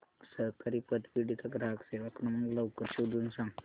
सहकारी पतपेढी चा ग्राहक सेवा क्रमांक लवकर शोधून सांग